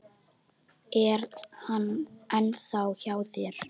Er hann ennþá hjá þér?